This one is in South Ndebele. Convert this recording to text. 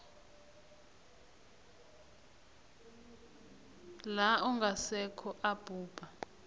la ongasekho abhubha